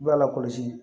I b'a lakɔlɔsi